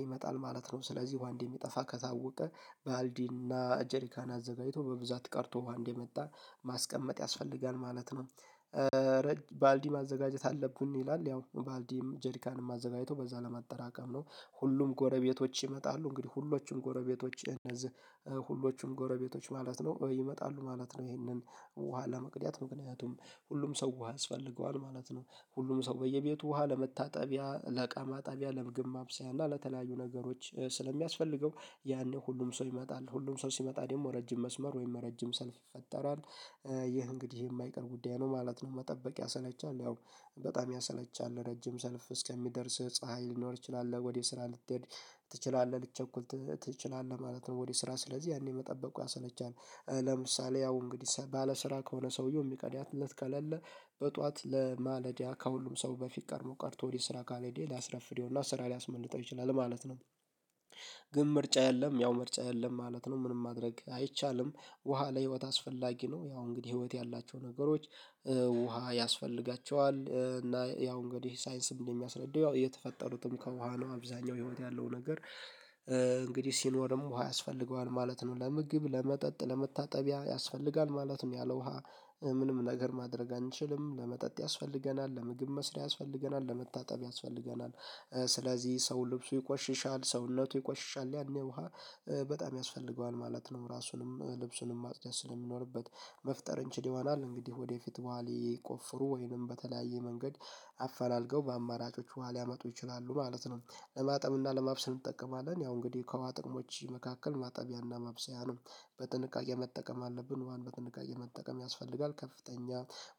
ይመጣል ማለት ነው። ስለዚህ ዉሃ እንደሚጠፋ ከታወቀ ባልዲ እና ጀሪካን አዘጋጅቶ በብዛት ቀድቶ ዉሃ እንደመጣ ማስቀመጥ ያስፈልጋል ማለት ነው። ባልዲ ማዘጋጀት አለብን ይላል ያው ባልዲም ጀሪካንም አዘጋጅቶ በዛ ለማጠራቀም ነው። ሁሉም ጎረቤቶች ይመጣሉ እንግዲህ ሁሎችም ጎረቤቶች እነዚህ ሁሎችም ጎረቤቶች ማለት ነው ይመጣሉ ማለት ነው ይሄንን ውሃ ለመቅዳት ምክንያቱም ሁሉም ሰው ውሃ ያስፈልገዋል ማለት ነው። ሁሉም ሰው በየቤቱ ውሃ ለመታጠቢያ ለእቃ ማጠቢያ ለምግብ ማብሰያ እና ለተለያዩ ነገሮች ስለሚያስፈልገው ያኔ ሁሉም ሰው ይመጣል ሁሉም ሰው ሲመጣ ደግሞ ረጅም መስመር ወይም ረጅም ሰልፍ ይፈጠራል። ይህ እንግዲህ የማይቀር ጉዳይ ነው ማለት ነው። መጠበቅ ያሰለቻል ያው በጣም ያሰለቻል ረጅም ሰልፍ እስከሚደርስህ ፀሀይ ሊኖር ይችላል ወደ ስራ ልትሄድ ትችላለህ ልትቸኩል ትችላለህ ማለት ነው ወደ ስራ ስለዚህ ያኔ መጠበቁ ያሰለቻል። ለምሳሌ ያው እንግዲህ ባለስራ ከሆነ ሰውየው የሚቀዳለት ከሌለ በጧት ለማለዳ ከሁሉም ሰው በፊት ቀድሞ ቀድቶ ወደ ስራ ካልሄደ ሊያስረፍደው እና ስራ ሊያስመልጠው ይችላል ማለት ነው። ግን ምርጫ የለም ያው ምርጫ የለም ማለት ነው። ምንም ማድረግ አይቻልም። ውሃ ለህይወት አስፈላጊ ነው። ያው እንግዲህ ህይወት ያላቸው ነገሮች ውሃ ያስፈልጋቸዋል እና ያው እንግዲህ ሳይንስም እንደሚያስረድየው የተፈጠሩትም ከውሃ ነው። አብዛኛው ህይወት ያለው ነገር እንግዲህ ሲኖርም ውሃ ያስፈልገዋል ማለት ነው። ለምግብ ለመጠጥ ለመታጠቢያ ያስፈልጋል ማለትም ያለ ውሃ ምንም ነገር ማድረግ አንችልም። ለመጠጥ ያስፈልገናል ለምግብ መስሪያ ያስፈልገናል ለመታጠብ ያስፈልገናል። ስለዚህ ሰው ልብሱ ይቆሽሻል ሰውነቱ ይቆሽሻል ያኔ ውሃ በጣም ያስፈልገዋል ማለት ነው። ራሱንም ልብሱንም ማጽዳት ስለሚኖርበት መፍጠር እንችል ይሆናል እንግዲህ ወደፊት ውሃ ሊቆፍሩ ወይንም በተለያየ መንገድ አፈላልገው በአማራጮች ውሃ ሊያመጡ ይችላሉ ማለት ነው። ለማጠብ እና ለማብሰል እንጠቀማለን ያው እንግዲህ ከውሃ ጥቅሞች መካከል ማጠቢያና ማብሰያ ነው። በጥንቃቄ መጠቀም አለብን ውሃን በጥንቃቄ መጠቀም ያስፈልጋል። ከፍተኛ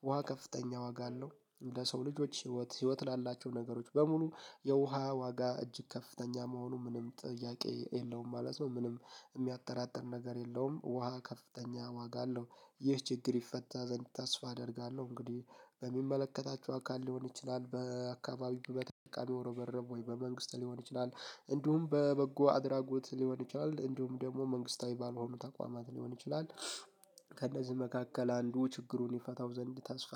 ውሃ ከፍተኛ ዋጋ አለው። ለሰው ልጆች ህይወት ህይወት ላላቸው ነገሮች በሙሉ የውሃ ዋጋ እጅግ ከፍተኛ መሆኑ ምንም ጥያቄ የለውም ማለት ነው። ምንም የሚያጠራጥር ነገር የለውም ውሃ ከፍተኛ ዋጋ አለው። ይህ ችግር ይፈታ ዘንድ ተስፋ አደርጋለሁ። እንግዲህ በሚመለከታቸው አካል ሊሆን ይችላል በአካባቢው በተጠቃሚው ርብርብ ወይ በመንግስት ሊሆን ይችላል። እንዲሁም በበጎ አድራጎት ሊሆን ይችላል እንዲሁም ደግሞ መንግስታዊ ባልሆኑ ተቋማት ሊሆን ይችላል። ከእነዚህ መካከል አንዱ ችግሩን ይፈታው ዘንድ ተስፋ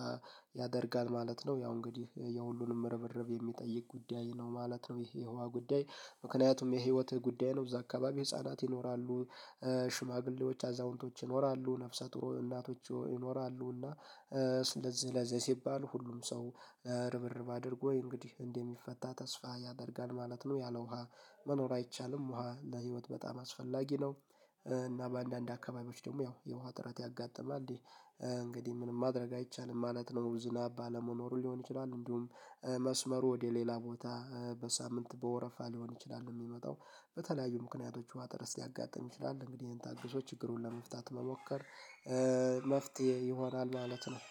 ያደርጋል ማለት ነው። ያው እንግዲህ የሁሉንም ርብርብ የሚጠይቅ ጉዳይ ነው ማለት ነው። ይሄ የውሃ ጉዳይ ምክንያቱም የህይወት ጉዳይ ነው። እዛ አከባቢ ህፃናት ይኖራሉ ሽማግሌዎች አዛውንቶች ይኖራሉ ነብሰ ጡር እናቶች ይኖራሉና። ስለዚህ ለዚህ ሲባል ሁሉም ሰው ርብርብ አድርጎ እንግዲህ እንደሚፈታ ተስፋ ያደርጋል ማለት ነው። ያለ ውሃ መኖር አይቻልም። ውሃ ለህይወት በጣም አስፈላጊ ነው። እና በአንዳንድ አካባቢዎች ደግሞ ያው የውሃ እጥረት ያጋጥማል። እንግዲህ ምንም ማድረግ አይቻልም ማለት ነው። ዝናብ ባለመኖሩ ሊሆን ይችላል እንዲሁም መስመሩ ወደ ሌላ ቦታ በሳምንት በወረፋ ሊሆን ይችላል የሚመጣው በተለያዩ ምክንያቶች ውሃ እጥረት ሊያጋጥም ይችላል። እንግዲህ ይሄን ታግሶ ችግሩን ለመፍታት መሞከር መፍትሄ ይሆናል ማለት ነው